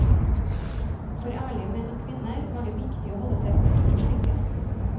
For ærlige menn og kvinner var det viktig å holde seg borte fra slike.